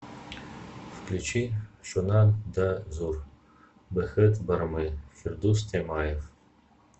включи шуннан да зур бэхет бармы фирдус тямаев